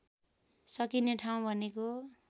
सकिने ठाउँ भनेको